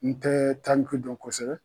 N tɛɛ taliki dɔn kɔsɛbɛ